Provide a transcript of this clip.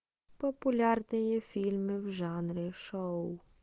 популярные фильмы в жанре шоу